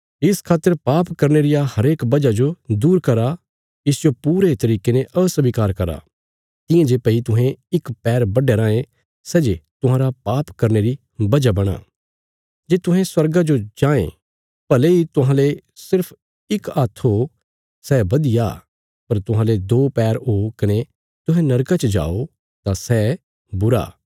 इस खातर पाप करने रिया हरेक वजह जो दूर करा इसजो पूरे तरिके ने अस्वीकार करा तियां जे भई तुहें इक पैर बड्डया रांये सै जे तुहांरा पाप करने री वजह बणां जे तुहें स्वर्गा जो जांये भले इ तुहांले सिर्फ इक हात्थ हो सै बधिया पर तुहांले दो पैर हो कने तुहें नरका च जाओ तां सै बुरा